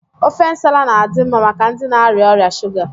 Ofe nsala na-adị mma maka ndị na-arịa ọrịa shuga.